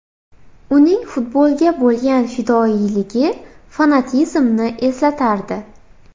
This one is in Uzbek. Uning futbolga bo‘lgan fidoyiligi fanatizmni eslatardi.